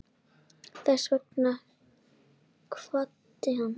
Þess vegna kvaddi hann.